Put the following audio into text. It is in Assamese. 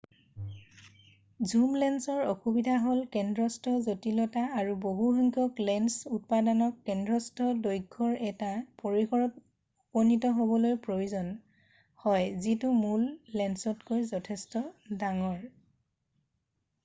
ঝুম লেন্সৰ অসুবিধা হ'ল কেন্দ্ৰস্থ জটিলতা আৰু বহু সংখ্যক লেন্স উপাদানক কেন্দ্ৰস্থ দৈৰ্ঘ্যৰ এটা পৰিসৰত উপনীত হ'বলৈ প্ৰয়োজন হয় যিটো মূল লেন্সতকৈ যথেষ্ট ডাঙৰ